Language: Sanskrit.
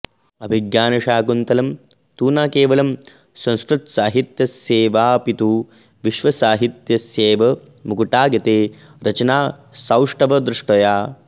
अभिज्ञानशाकुन्तलं तु न केवलं संस्कृतसाहित्यस्यैवापितु विश्वसाहित्यस्यैव मुकुटायते रचनासौष्ठवदृष्ट्या